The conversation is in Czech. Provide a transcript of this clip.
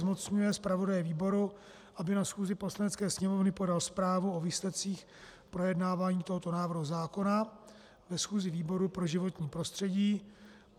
Zmocňuje zpravodaje výboru, aby na schůzi Poslanecké sněmovny podal zprávu o výsledcích projednávání tohoto návrhu zákona ve schůzi výboru pro životní prostředí.